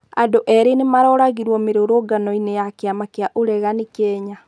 Andũ eerĩ nĩmaroragirwo mĩrũrũngano-inĩ ya kĩama kĩa uregani Kenya